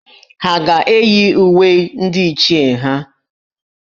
Ha ga-eyi uwe ndị Ichie ha?